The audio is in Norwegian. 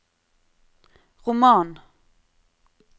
roman